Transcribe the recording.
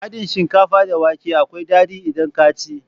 Hadin shinkafa da wake akwai dadi idan ka ci.